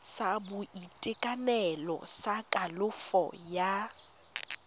sa boitekanelo sa kalafo ya